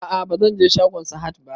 A'a bazan je shagon Sahad ba